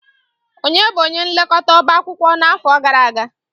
Ònye bụ onye nlekọta ọbá akwụkwọ n'afọ gara aga?